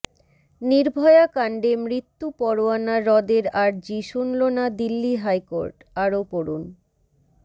নির্ভয়া কাণ্ডে মৃত্যু পরোয়ানা রদের আর্জি শুনল না দিল্লি হাইকোর্ট আরও পড়ুন